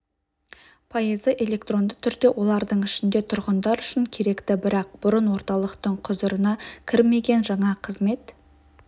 пайызы электронды түрде олардың ішінде тұрғындар үшін керекті бірақ бұрын орталықтың құзырына кірмеген жаңа қызмет